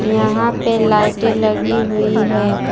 यहां पे लाइटें लगी हुई है।